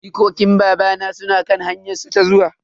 Jikokin babana suna kan hanyar su ta zuwa.